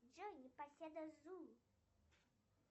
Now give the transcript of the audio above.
джой неоседа зум